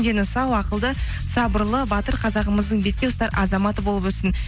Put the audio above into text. дені сау ақылды сабырлы батыр қазағымыздың бетке ұстар азаматы болып өссін